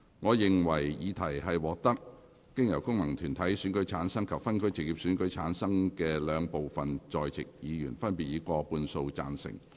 我認為議題獲得經由功能團體選舉產生及分區直接選舉產生的兩部分在席議員，分別以過半數贊成。